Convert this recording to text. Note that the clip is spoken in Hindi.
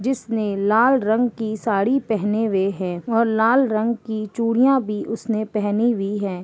जिसने लाल रंग की साड़ी पहेनेवे हैं और लाल रंग की चूड़ियाँ भी उसने पहनी हुई है।